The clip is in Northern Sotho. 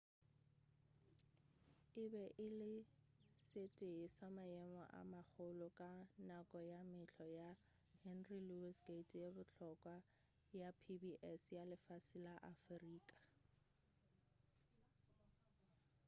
e be e le se tee sa maemo a magolo ka nako ya mehlo ya henry louis gate ye bohlokwa ya pbs ya lefase la afrika